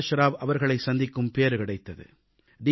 பிரகாஷ் ராவ் அவர்களைச் சந்திக்கும் பேறு கிடைத்தது